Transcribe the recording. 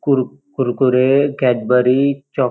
कुर कुरकुरे कॅडबरी चॉक --